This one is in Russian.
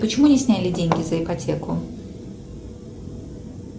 почему не сняли деньги за ипотеку